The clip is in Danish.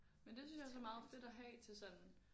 Men det synes jeg også er meget fedt at have til sådan